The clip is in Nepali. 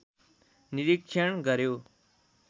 निरीक्षण गर्‍यो